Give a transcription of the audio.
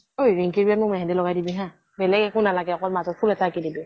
ঐ ৰিঙ্কিৰ বিয়াত মোক মেহেন্দি লগাই দিবি হা । বেলেগ একো নালাগে অকল মাজত ফুল এটা অঁকি দিবি।